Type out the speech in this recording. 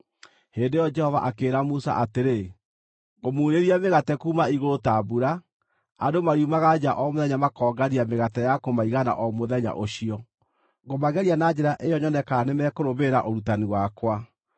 Hĩndĩ ĩyo Jehova akĩĩra Musa atĩrĩ, “Ngũmuurĩria mĩgate kuuma igũrũ ta mbura. Andũ mariumaga nja o mũthenya makongania mĩgate ya kũmaigana o mũthenya ũcio. Ngũmageria na njĩra ĩyo nyone kana nĩmekũrũmĩrĩra ũrutani wakwa.